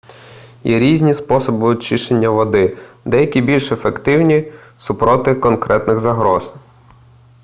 є різні способи очищення води деякі більш ефективні супроти конкретних загроз